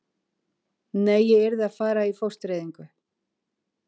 Nei, ég yrði að fara í fóstureyðingu.